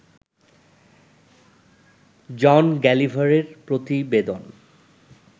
জন গালিভারের প্রতিবেদন